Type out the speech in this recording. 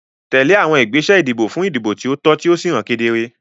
Tẹ̀lé àwọn ìgbésẹ̀ ìdìbò fún ìdìbò tí ó tọ́ tí ó sì hàn kedere.